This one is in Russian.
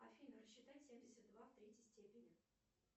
афина рассчитай семьдесят два в третьей степени